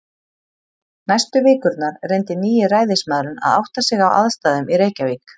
Næstu vikurnar reyndi nýi ræðismaðurinn að átta sig á aðstæðum í Reykjavík.